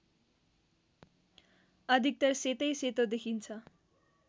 अधिकतर सेतैसेतो देखिन्छ